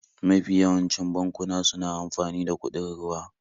Mafi yawancin bankuna suna amfani da kuɗin ruwa.